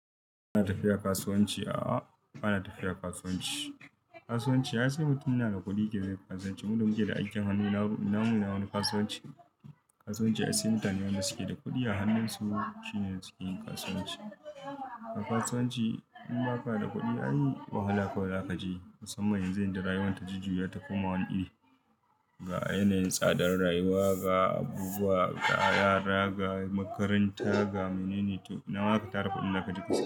Ba na tafiya kasuwanci a a ba na tafiya kasuwanci. Kasuwanci ya ce mutum yana da kuɗi yake zai yi kasuwanci. Mu da muke da ajiyar hannu na mu na wani kasuwanci. Kasuwanci ai sai mutanen da suke da kuɗi a hannun su shine suke yin kasuwanci. A kasuwanci in ba ka da kuɗi ai wahala kawai za ka je. Musamman yanzu inda rayuwar ta jujuya ta koma wani iri. Ga yanayin tsadar rayuwa, ga abubuwa, ga yara, ga makaranta ga menene to ina wa ka tara kuɗin da ka je kasuwa?